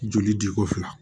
Joli di ko fila